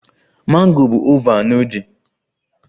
Mango bụ oval na udi